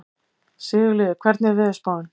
Sigurliði, hvernig er veðurspáin?